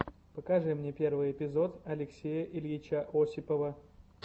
покажи мне первый эпизод алексея ильича осипова